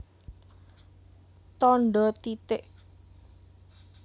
Tandha titik